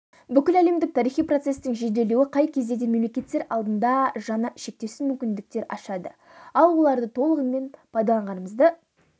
бүкіл әлемдік тарихи процестің жеделдеуі қай кезде де мемлекеттер алдында жаңа шектеусіз мүмкіндіктер ашады ал оларды толығымен пайдаланғанымызды